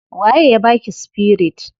Wa ye ya baki spirit?